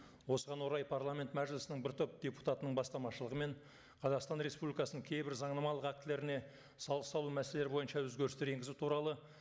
осыған орай парламент мәжілісінің бір топ депутатының бастамашылығымен қазақстан республикасының кейбір заңнамалық актілеріне салық салу мәселелері бойынша өзгерістер енгізу туралы